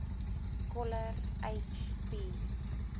coller h p